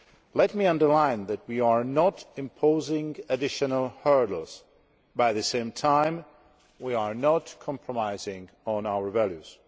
Let me underline that we are not imposing additional hurdles, but at the same time we are not compromising on our values.